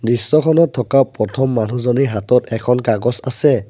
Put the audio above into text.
দৃশ্যখনত থকা প্ৰথম মানুহজনিৰ হাতত এখন কাগজ আছে।